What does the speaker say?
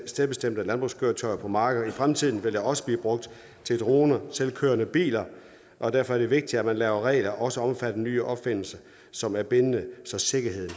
stedbestemte landbrugskøretøjer på marker i fremtiden vil de også blive brugt til droner og selvkørende biler og derfor er det vigtigt at man laver regler der også omfatter nye opfindelser som er bindende så sikkerheden